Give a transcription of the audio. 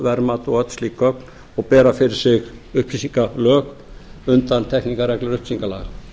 verðtilboðverðmat og öll slík gögn og bera fyrir sig upplýsingalög undantekningarreglur upplýsingalaga